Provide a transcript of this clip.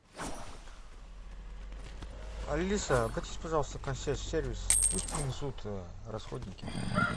алиса обратись пожалуйста в консьерж сервис пусть принесут расходники